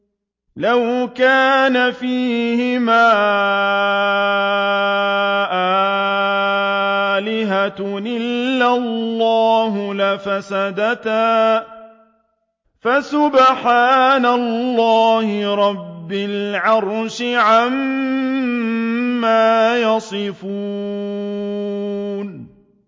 لَوْ كَانَ فِيهِمَا آلِهَةٌ إِلَّا اللَّهُ لَفَسَدَتَا ۚ فَسُبْحَانَ اللَّهِ رَبِّ الْعَرْشِ عَمَّا يَصِفُونَ